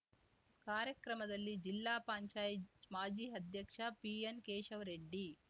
ಕಾರ್ಯಕ್ರಮದಲ್ಲಿ ಜಿಲ್ಲಾ ಪಂಚಾಯಿತ್ ಮಾಜಿ ಅಧ್ಯಕ್ಷ ಪಿಎನ್ ಕೇಶವರೆಡ್ಡಿ